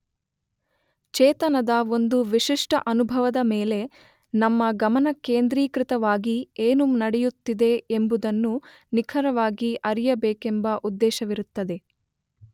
ಚೇತನದ ಒಂದು ವಿಶಿಷ್ಟ ಅನುಭವದ ಮೇಲೆ ನಮ್ಮ ಗಮನ ಕೇಂದ್ರೀಕೃತವಾಗಿ ಏನು ನಡೆಯುತ್ತಿದೆ ಎಂಬುದನ್ನು ನಿಖರವಾಗಿ ಅರಿಯಬೇಕೆಂಬ ಉದ್ದೇಶವಿರುತ್ತದೆ.